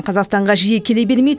қазақстанға жиі келе бермейді